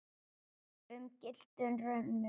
um gylltum römmum.